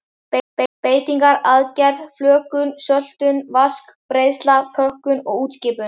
Beitingar, aðgerð, flökun, söltun, vask, breiðsla, pökkun og útskipun.